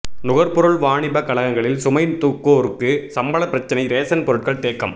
நுகர்பொருள் வாணிப கழகங்களில் சுமை தூக்குவோருக்கு சம்பள பிரச்னை ரேசன் பொருட்கள் தேக்கம்